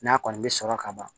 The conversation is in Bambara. N'a kɔni bɛ sɔrɔ ka ban